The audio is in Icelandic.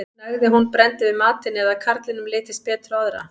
Nægði að hún brenndi við matinn eða að karlinum litist betur á aðra.